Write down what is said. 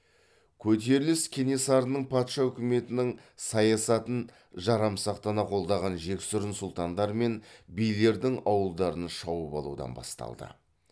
көтеріліс кенесарының патша үкіметінің саясатын жарамсақтана қолдаған жексұрын сұлтандар мен билердің ауылдарын шауып алудан басталды